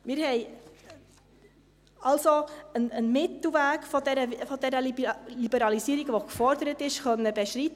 Wir konnten also einen Mittelweg der geforderten Liberalisierung beschreiten.